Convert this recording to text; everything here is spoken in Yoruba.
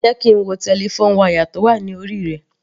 Jẹ́ kí n wo telephone wire tó wà ní orí rẹ.